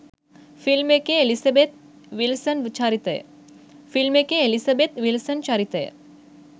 film එකේ Elizabeth Wilson චරිතය